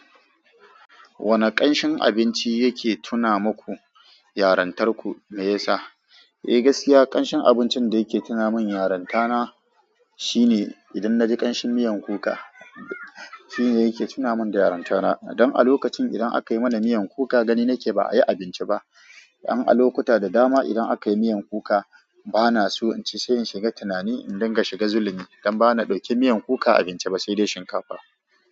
Wane ƙanshin abinci yake tuna maku yarentarku mai yasa? Eh gaskiya ƙanshin abincin da yake tuna min yarentana shine idan na ji ƙanshin miyan kuka shine yake tuna min da yarentana. Dan a lokacin idan aka mana miyan kuka gani nake ba a yi abinci ba. Don a lokuta da dama idan aka yi miyan kuka bana so in ci sai in shiga tunani in dinga shiga zullumi dan bana dauke miyan kuka abinci ba sai dai shinkafa.